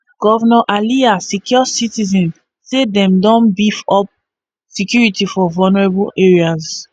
govnor alia assure citizen say dem don beef up security for vulnerable areas